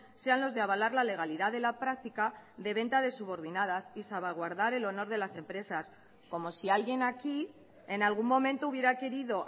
sean los de avalar la legalidad de la práctica de venta de subordinadas y salvaguardar el honor de las empresas como si alguien aquí en algún momento hubiera querido